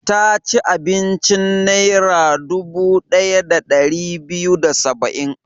Ta ci abincin Naira dubu ɗaya da ɗari biyu da saba'in.